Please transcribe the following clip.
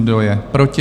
Kdo je proti?